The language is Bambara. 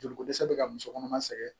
Joliko dɛsɛ bɛ ka muso kɔnɔma sɛgɛn